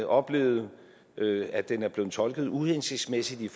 oplevet at den er blevet tolket uhensigtsmæssigt i